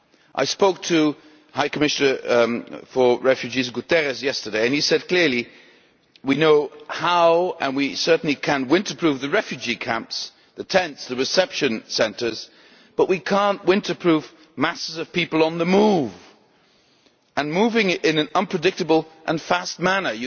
I spoke to the High Commissioner for Refugees, António Guterres, yesterday and he said clearly that we know how to, and we certainly can, winter proof the refugee camps, the tents, the reception centres, but we cannot winter proof masses of people on the move and moving in an unpredictable and fast manner.